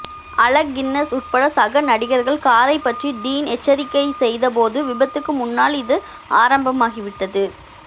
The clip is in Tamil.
அலெக் கின்னஸ் உட்பட சக நடிகர்கள் காரைப் பற்றி டீன் எச்சரிக்கை செய்தபோது விபத்துக்கு முன்னால் இது ஆரம்பமாகிவிட்டது